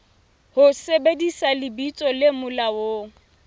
ho sebedisa lebitso le molaong